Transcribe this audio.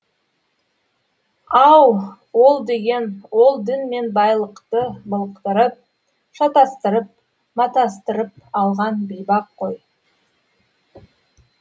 ау ол деген ол дін мен байлықты былықтырып шатастырып матастырып алған бейбақ қой